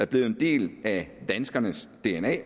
blevet en del af danskernes dna